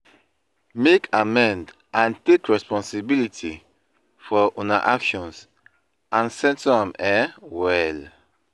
Make amend and take responsibility for una actions and settle am um well.